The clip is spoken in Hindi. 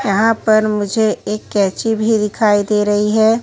यहाँ पर मुझे एक कैची भी दिखाई दे रही है।